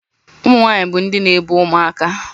Ụmụ nwanyị bụ ndị na-ebu ụmụaka